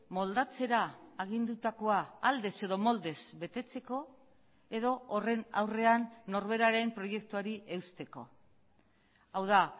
moldatzera agindutakoa aldez edo moldez betetzeko edo horren aurrean norberaren proiektuari eusteko hau da